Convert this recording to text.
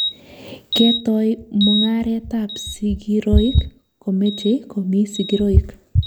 Ketoi mung'aret ap.sigiroik komechei komii sigiroik.